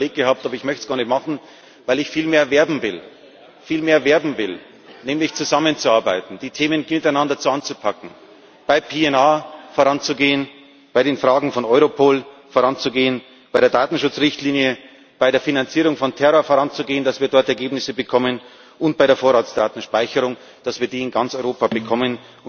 Ich hatte es mir überlegt, aber ich möchte es gar nicht machen, weil ich vielmehr werben will, nämlich dafür, zusammenzuarbeiten, die Themen miteinander anzupacken, bei PNR voranzugehen, bei den Fragen von Europol voranzugehen, bei der Datenschutzrichtlinie, bei der Bekämpfung der Finanzierung von Terror voranzugehen, damit wir dort Ergebnisse bekommen, und bei der Vorratsdatenspeicherung, damit wir die in ganz Europa bekommen.